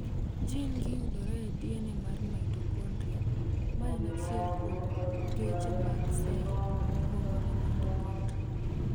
Jin gi yudore e DNA mar mitokondria, ma en achiel kuom geche mag sel miluongo ni mitokondria.